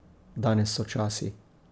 Danes so časi ...